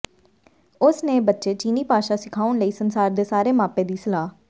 ਉਸ ਨੇ ਬੱਚੇ ਚੀਨੀ ਭਾਸ਼ਾ ਸਿਖਾਉਣ ਲਈ ਸੰਸਾਰ ਦੇ ਸਾਰੇ ਮਾਪੇ ਦੀ ਸਲਾਹ